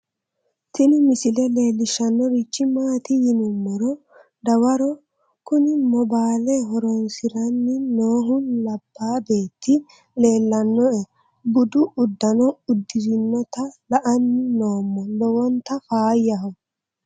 Tini misile leellishshannorichi maati yinummoro dawaro kuni moobale horroonsiranni noohu labba beetti leellannoe budu uddano uddirinota la'anni noommo lowonta faayyaho